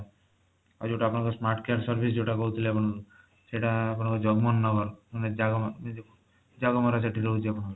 ଆଉ ଯୋଊଟା ଆପଣଙ୍କର smart care service ଯୋଊଟା କହୁଥିଲେ ଆପଣ ସେଇଟା ଆପଣଙ୍କର ଜଗମନ ନଗର ମାନେ ଜାଗମରା ଏଇ ଯୋଊ ଜାଗମରା ସେଇଠି ରହୁଛି ଆପଣଙ୍କର